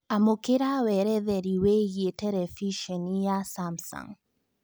amũkĩra weretheri wĩigĩe terebĩcenĩ ya Samsung